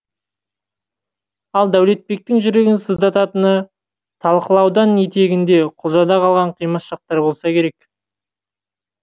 ал дәулетбектің жүрегін сыздататыны талқытаудың етегінде құлжада қалған қимас шақтар болса керек